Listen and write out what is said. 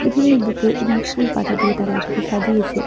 বিভিন্ন বুকে এবং ফুল পাতা দিয়ে তারা এটাকে সাজিয়েছে।